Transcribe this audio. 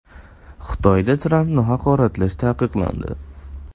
Xitoyda Trampni haqoratlash taqiqlandi.